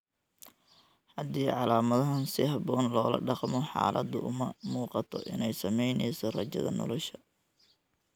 Haddii calaamadaha si habboon loola dhaqmo, xaaladdu uma muuqato inay saameynayso rajada nolosha.